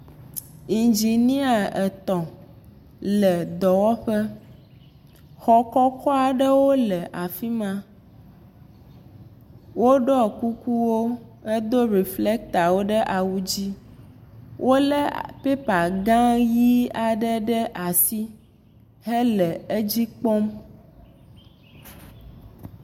Indzinia etɔ̃ aɖewo le dɔwɔƒe, xɔ kɔkɔ aɖewo le afi ma woɖɔ kukuwo hedo reflectorwo ɖe awu dzi wolé paper gã aɖewo ɖe asi hele edzi kpɔm.